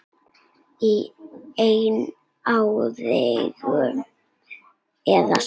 Í einn áratug eða svo.